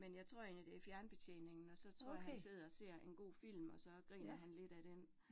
Men jeg tror egentlig det fjernbetjeningen, og så tror jeg, han sidder og ser en god film, og så griner han lidt af den